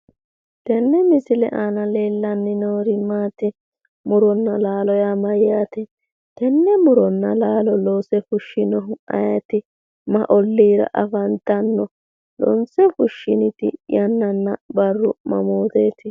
Tenne misile aana leellanni noori maati? mu'ronna laalo yaa mayyaate? tenne mu'ronna laalo loose fushshinohu ayeeti? mayi olliira afantanno? Loonse fushshiniti barrunna yanna mamooteeti?